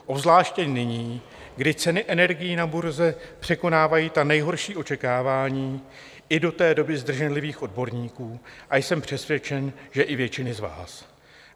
Obzvláště nyní, kdy ceny energií na burze překonávají ta nejhorší očekávání i do té doby zdrženlivých odborníků, a jsem přesvědčen, že i většiny z vás.